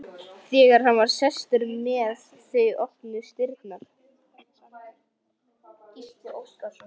Þegar hann var sestur með þau opnuðust dyrnar.